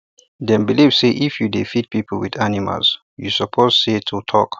dem believe say if you dey feed people with animals you suppose say to talk